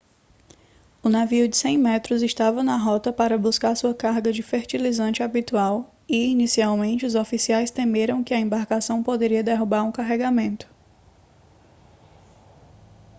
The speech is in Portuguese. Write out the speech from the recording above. o navio de 100 metros estava na rota para buscar sua carga de fertilizante habitual e inicialmente os oficiais temeram que a embarcação poderia derrubar um carregamento